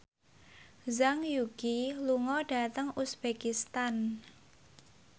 Zhang Yuqi lunga dhateng uzbekistan